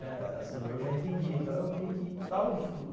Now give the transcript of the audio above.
Assim, eu já entendia, então eu via que estava